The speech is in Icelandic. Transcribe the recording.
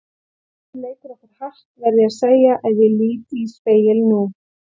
Tíminn leikur okkur hart, verð ég að segja ef ég lít í spegil nú.